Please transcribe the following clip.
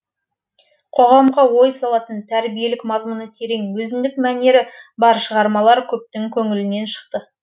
қоғамға ой салатын тәрбиелік мазмұны терең өзіндік мәнері бар шығармалар көптің көңілінен шықты